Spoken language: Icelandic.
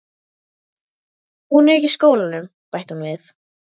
Hún er ekki í skólanum, bætti hún við.